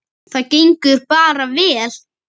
Það gengur bara vel.